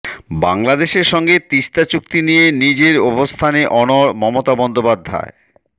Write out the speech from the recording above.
বাংলাদেশের সঙ্গে তিস্তা চুক্তি নিয়ে নিজের অবস্থানে অনড় মমতা বন্দ্যোপাধ্যায়